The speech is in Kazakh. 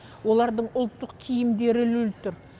олардың ұлттық киімдері ілулі тұр